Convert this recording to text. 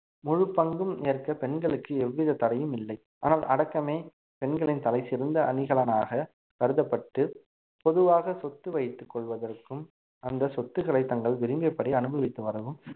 முழு பங்கும் ஏற்க பெண்களுக்கு எவ்வித தடையும் இல்லை ஆனால் அடக்கமே பெண்களின் தலை சிறந்த அணிகலனாக கருதப்பட்டு பொதுவாக சொத்து வைத்துக் கொள்வதற்கும் அந்த சொத்துக்களை தங்கள் விரும்பியபடி அனுபவித்து வரவும்